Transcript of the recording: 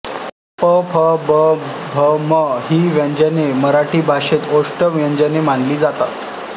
प फ ब भ म ही व्यंजने मराठी भाषेमध्ये ओष्ठ्य व्यंजने मानली जातात